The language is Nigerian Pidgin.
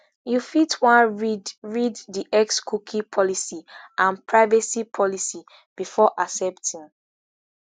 you fit wan read read di xcookie policyandprivacy policybefore accepting